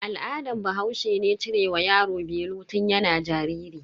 Al'adan bahaushe ne cire wa yaro belu tun yana jariri.